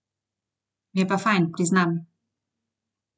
Mi je pa fajn, priznam.